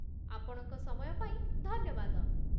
ଆପଣଙ୍କ ସମୟ ପାଇଁ ଧନ୍ୟବାଦ ।